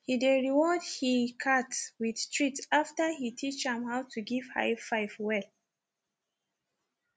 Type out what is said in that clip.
he dey reward he cat with treats after he teach am how to give high five well